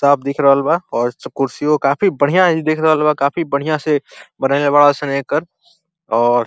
साफ़ दिख रहल बा और कुर्सियो काफी बढ़ियां दिख रहल बा। काफी बढ़ियां से बनइले बाड़सन एकर और --